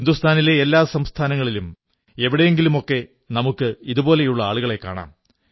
ഹിന്ദുസ്ഥാനിലെ എല്ലാ സംസ്ഥാനങ്ങളിലും എവിടെയെങ്കിലുമൊക്കെ നമുക്ക് ഇതുപോലുള്ള ആളുകളെ കാണാം